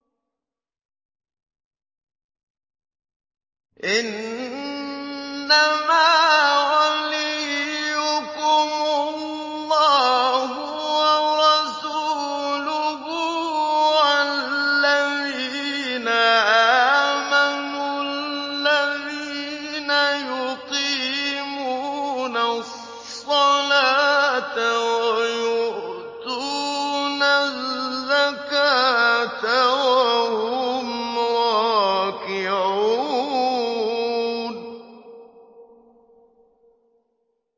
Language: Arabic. إِنَّمَا وَلِيُّكُمُ اللَّهُ وَرَسُولُهُ وَالَّذِينَ آمَنُوا الَّذِينَ يُقِيمُونَ الصَّلَاةَ وَيُؤْتُونَ الزَّكَاةَ وَهُمْ رَاكِعُونَ